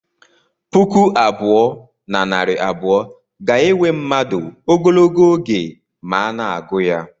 Puku abụọ na narị abụọ ga-ewe mmadụ ogologo oge ma a na-agụ ya